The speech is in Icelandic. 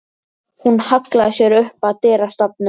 Hún hallaði sér upp að dyrastafnum.